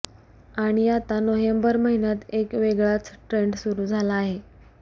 आणि आता नोव्हेंबर महिन्यात एक वेगळाच ट्रेंड सुरु झाला आहे